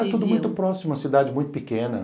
Era tudo muito próximo, uma cidade muito pequena.